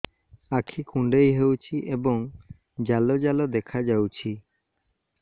ଆଖି କୁଣ୍ଡେଇ ହେଉଛି ଏବଂ ଜାଲ ଜାଲ ଦେଖାଯାଉଛି